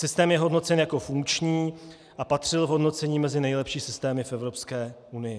Systém je hodnocen jako funkční a patřil v hodnocení mezi nejlepší systémy v Evropské unii.